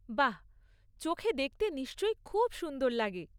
বাহ! চোখে দেখতে নিশ্চয় খুব সুন্দর লাগে।